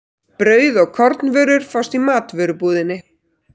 Brauð og kornvörur fást í matvörubúðinni.